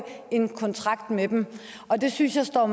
en kontrakt med dem og det synes jeg er